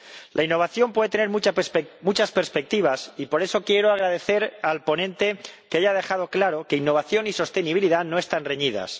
La innovación puede tener muchas perspectivas, y por eso quiero agradecer al ponente que haya dejado claro que innovación y sostenibilidad no están reñidas.